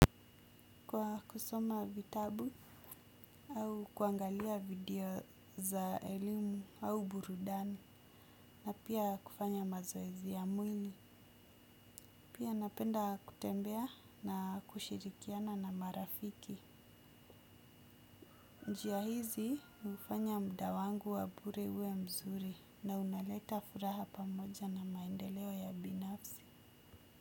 Kwa kusoma vitabu au kuangalia video za elimu au burudani na pia kufanya mazoezi ya mwili. Pia napenda kutembea na kushirikiana na marafiki. Njia hizi ufanya mda wangu wa bure uwe mzuri na unaleta furaha pamoja na maendeleo ya binafsi.